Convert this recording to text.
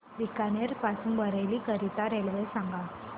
बीकानेर पासून बरेली करीता रेल्वे सांगा